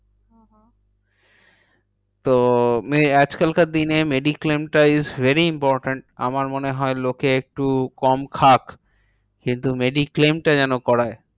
তো আজকালকার দিনে mediclaim টা is very important. আমার মনে লোকে একটু কম খাক কিন্তু mediclaim টা যেন করায়।